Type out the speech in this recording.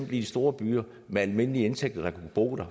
de store byer med almindelige indtægter der kunne bo der